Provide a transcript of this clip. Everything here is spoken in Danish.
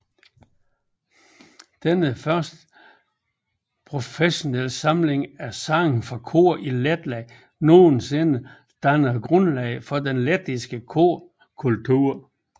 Denne første professionelle samling af sange for kor i Letland nogensinde dannede grundlaget for den lettiske korkultur